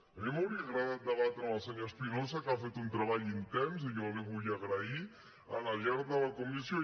a mi m’hauria agradat debatre amb el senyor espinosa que ha fet un treball intens i jo l’hi vull agrair al llarg de la comissió